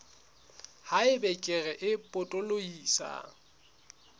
ha eba kere e potolohisang